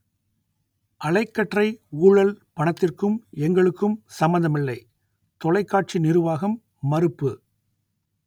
அலைக்கற்றை ஊழல் பணத்திற்கும் எங்களுக்கும் சம்பந்தமில்லை தொலைக்காட்சி நிருவாகம் மறுப்பு